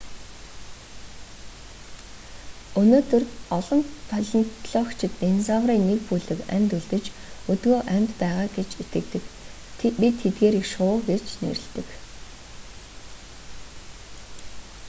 өнөөдөр олон палеонтологичид динозаврын нэг бүлэг амьд үлдэж өдгөө амьд байгаа гэж итгэдэг бид тэдгээрийг шувуу гэж нэрлэдэг